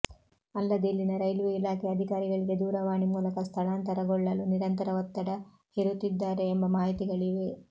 ಅಲ್ಲದೆ ಇಲ್ಲಿನ ರೈಲ್ವೆ ಇಲಾಖೆ ಅಧಿಕಾರಿಗಳಿಗೆ ದೂರವಾಣಿ ಮೂಲಕ ಸ್ಥಳಾಂತರಗೊಳ್ಳಲು ನಿರಂತರ ಒತ್ತಡ ಹೆರುತ್ತಿದ್ದಾರೆ ಎಂಬ ಮಾಹಿತಿಗಳಿವೆ